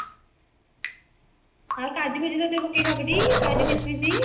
ଆଉ କାଜୁ ଫାଜୁ ତା ଦିହରେ ପକେଇ ଲେ ହେବଟି କାଜୁ କିସମିସ